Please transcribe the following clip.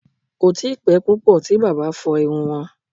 Kò tíi pẹ́ púpọ̀ tí bàbá fọ iru wọn